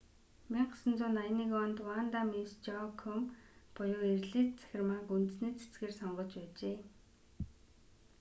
1981 онд ванда мисс жоакуйм буюу эрлийз цахирмааг үндэсний цэцгээр сонгож байжээ